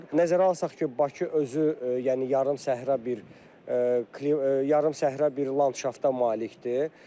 Nəzərə alsaq ki, Bakı özü, yəni yarım səhra bir yarım səhra bir landşafta malikdir.